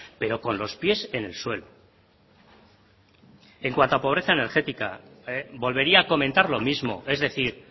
pero con los pies en el suelo en cuanto a pobreza energética volvería a comentar lo mismo es decir